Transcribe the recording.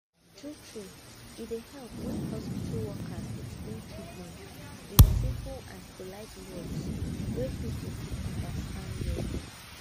true true e dey help when hospital workers explain treatment with simple and polite words wey people fit understand well